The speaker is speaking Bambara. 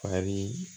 Fari